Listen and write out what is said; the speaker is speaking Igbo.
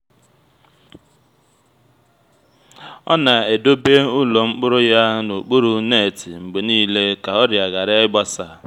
o na-edobe ụlọ mkpụrụ ya n'okpuru netị mgbe niile ka ọrịa ghara gbasaa